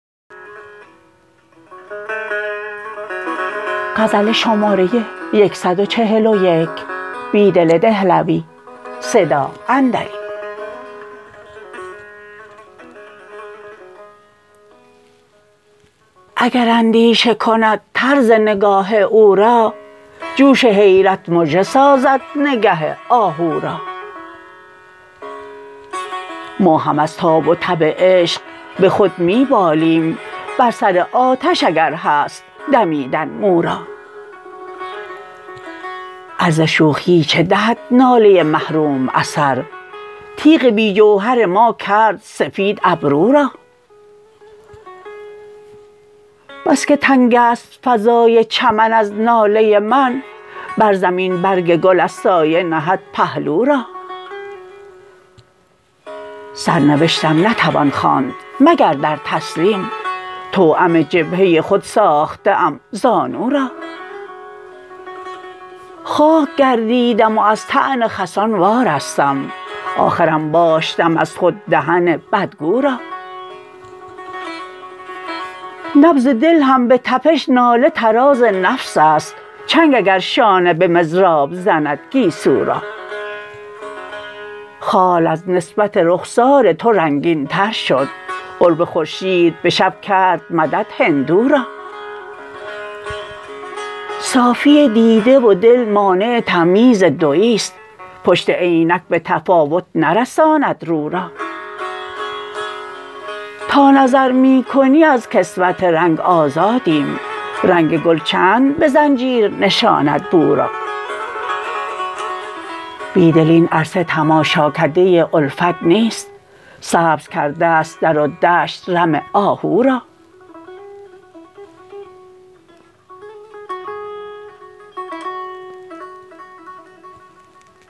اگر اندیشه کند ط رز نگاه او را جوش حیرت مژه سازد نگه آهو را ما هم از تاب و تب عشق به خود می بالیم بر سر آتش اگر هست دمیدن مو را عرض شوخی چه دهد ناله محروم اثر تیغ بی جوهر ما کرد سفید ابرو را بسکه تنگ است فضای چمن از ناله من بر زمین برگ گل از سایه نهد پهلو را سرنوشتم نتوان خواند مگر در تسلیم توأم جبهه خود ساخته ام زانو را خاک گردیدم و از طعن خسان وارستم آخر انباشتم از خود دهن بدگو را نبض دل هم به تپش ناله طراز نفس است چنگ اگر شانه به مضراب زند گیسو را خال از نسبت رخسار تو رنگین تر شد قرب خورشید به شب کرد مدد هندو را صافی دیده و دل مانع تمییز دویی ست پشت عینک به تفاوت نرساند رو را تا نظر می کنی از کسوت رنگ آزادیم رگ گل چند به زنجیر نشاند بو را بیدل این عرصه تماشاکده الفت نیست سبز کرده است در و دشت رم آهو را